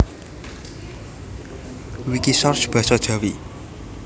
Wikisource basa Jawi